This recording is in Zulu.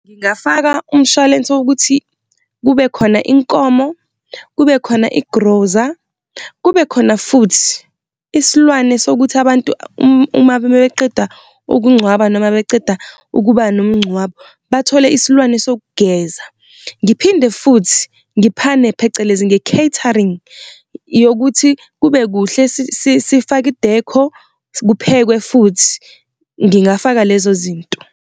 Ngingafaka umshwalense ukuthi kube khona inkomo, kube khona igroza, kube khona futhi isilwane sokuthi abantu uma beqeda ukungcwaba noma beceda ukuba nomngcwabo bathole isilwane sokugeza. Ngiphinde futhi ngiphane phecelezi, nge-catering yokuthi kube kuhle sifake i-decor, kuphekwe futhi. Ngingafaka lezo zinto.